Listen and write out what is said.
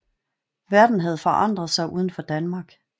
Verden havde forandret sig uden for Danmark